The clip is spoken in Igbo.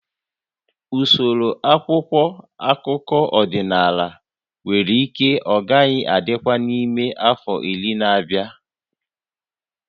Usoro akwụkwọ akụkọ ọdịnala nwere ike agaghị adịkwa n'ime afọ iri na-abịa